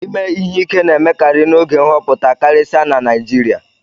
Ime ihe ike na-emekarị n'oge nhọpụta karịsịa na Naijiria